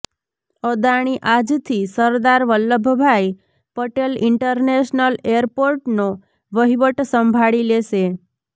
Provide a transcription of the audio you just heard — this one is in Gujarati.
અદાણી આજથી સરદાર વલ્લભભાઈ પટેલ ઈન્ટરનેશનલ એરપોર્ટનો વહીવટ સંભાળી લેશે